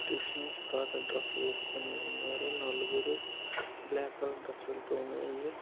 Christmas తాత dress వేసుకొని ఉన్నారు నలుగురు బ్లాక్ కలర్ డ్రెస్ లతో ఉన్నాయి.